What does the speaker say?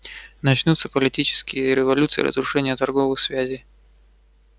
начнутся политические революции разрушение торговых связей